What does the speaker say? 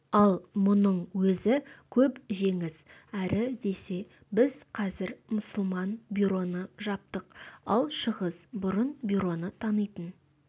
ал мұның өзі көп жеңіс әрі десе біз қазір мұсылман бюроны жаптық ал шығыс бұрын бюроны танитын